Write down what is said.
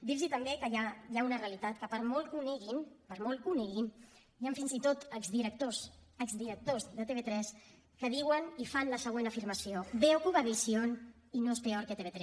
dir los també que hi ha una realitat que per molt que ho neguin per molt que ho neguin hi han fins i tot exdirectors exdirectors de tv3 que diuen i fan la següent afirmació veo cubavisión y no es peor que tv3